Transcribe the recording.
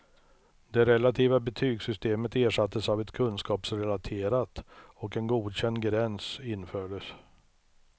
Det relativa betygssystemet ersattes av ett kunskapsrelaterat och en godkändgräns infördes.